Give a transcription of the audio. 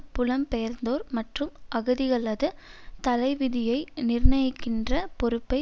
புலம்பெயர்ந்தோர் மற்றும் அகதிகளது தலைவிதியை நிர்ணயிக்கின்ற பொறுப்பை